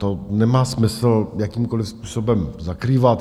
To nemá smysl jakýmkoliv způsobem zakrývat.